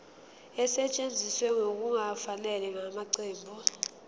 esetshenziswe ngokungafanele ngamaqembu